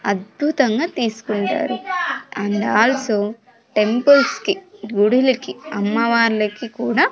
అద్భుతంగా తీసుకుంటారు and also temples కి గుడిలకు అమ్మవార్లకి కూడా--